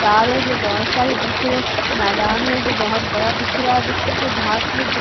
तार है जो बहुत सारे दिख रहे हैं मैदान है जो बहुत बड़ा दिख रहा है जो छोटे - छोटे घास में दिख --